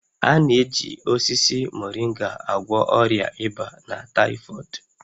A na-eji osisi Moringa agwọ ọrịa ịba na taịfọdụ